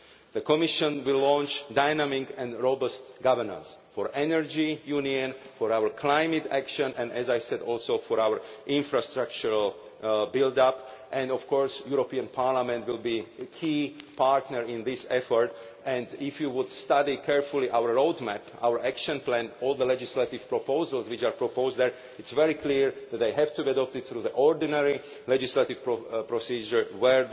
The Commission will launch dynamic and robust governance for the Energy Union, for our climate action and, as I said, also for our infrastructural build up, and of course Parliament will be a key partner in this effort. If you study carefully our roadmap, our action plan and all the legislative proposals which are proposed there, it is very clear that they have to adopt it through the ordinary legislative procedure,